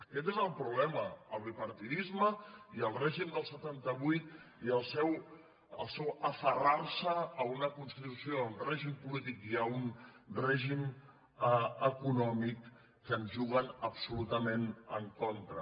aquest és el problema el bipartidisme i el règim del setanta vuit i el seu aferrarse a una constitució a un règim polític i a un règim econòmic que ens juguen absolutament en contra